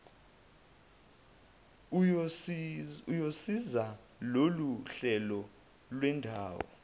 uyosiza loluhlelo lwendawo